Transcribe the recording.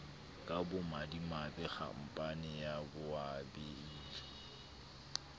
ka bomadimabe khampane ya boabiele